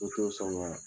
O t'o sɔn ga